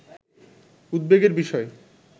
উদ্বেগের বিষয়